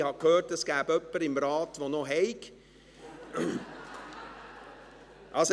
Ich habe gehört, es gebe im Rat jemanden, der noch welches habe.